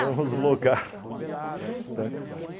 Vamos logar, tá?